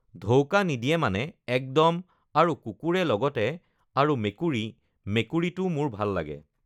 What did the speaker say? ধৌকা নিদিয়ে মানে একদম আৰু কুকুৰে লগতে আৰু মেকুৰী, মেকুৰীটো মোৰ ভাল লাগে